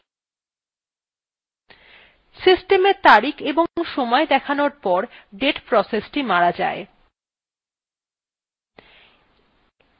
system এর তারিখ এবং সময় দেখানোর পর date process মারা যায়